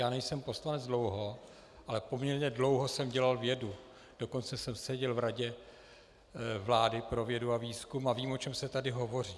Já nejsem poslanec dlouho, ale poměrně dlouho jsem dělal vědu, dokonce jsem seděl v Radě vlády pro vědu a výzkum a vím, o čem se tady hovoří.